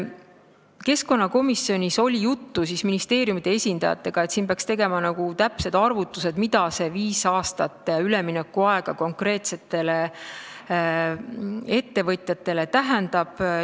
Keskkonnakomisjonis oli juttu ministeeriumite esindajatega, et peaks tegema täpsed arvutused, mida see viis aastat üleminekuaega konkreetsetele ettevõtjatele tähendab.